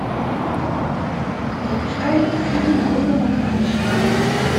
запускай фильм голый барабанщик